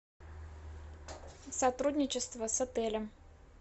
сотрудничество с отелем